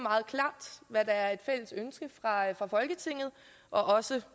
hvad der er et fælles ønske fra folketinget og også